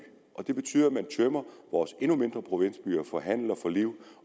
det betyder at man tømmer vores endnu mindre provinsbyer for handel og for liv